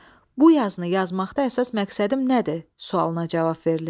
Bu yazını yazmaqda əsas məqsədim nədir sualına cavab verilir.